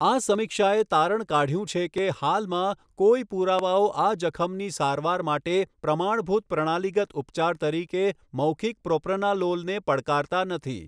આ સમીક્ષાએ તારણ કાઢ્યું છે કે હાલમાં, કોઈ પુરાવાઓ આ જખમની સારવાર માટે પ્રમાણભૂત પ્રણાલીગત ઉપચાર તરીકે મૌખિક પ્રોપ્રનાલોલને પડકારતા નથી.